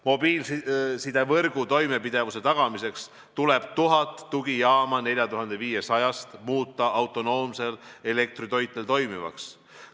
Mobiilsidevõrgu toimepidevuse tagamiseks tuleb 1000 tugijaama 4500-st muuta autonoomsel elektritoitel toimivaks.